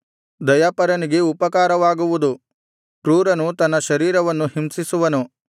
ದಯಾಪರನಿಗೆ ಉಪಕಾರವಾಗುವುದು ಕ್ರೂರನು ತನ್ನ ಶರೀರವನ್ನು ಹಿಂಸಿಸುವನು